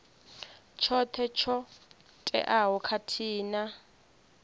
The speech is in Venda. tshoṱhe tsho teaho khathihi na